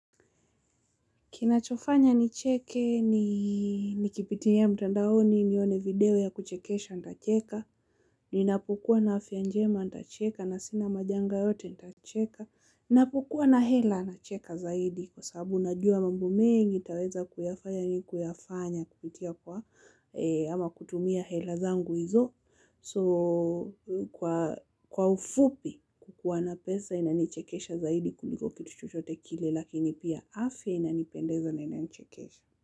Kinachofanya nicheke ni nikipitia mtandaoni nione video ya kuchekesha nitacheka, ninapokua na afya njema nitacheka na sina majanga yote nitacheka, ninapokua na hela nacheka zaidi kwa sababu najua mambo mengi nitaweza kuyafanya ni kuyafanya kupitia kwa ama kutumia hela zangu izo. So kwa ufupi kukuwa na pesa inanichekesha zaidi kuliko kitu chochote kile lakini pia afya inanipendeza na inanichekesha.